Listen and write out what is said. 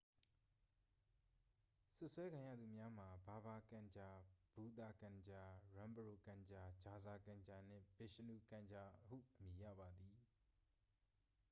စွပ်စွဲခံရသူများမှာ ဘာဘာ ကန်ဂျာ ဘူသာ ကန်ဂျာ ရန်ပရို ကန်ဂျာ ဂျာဇာ ကန်ဂျာနှင့် ဗစ်ရှ်နု ကန်ဂျာဟု အမည်ရပါသည်